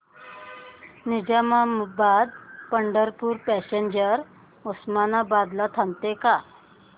Nizamabad Pandharpur passenger Osmanabad ला थांबते का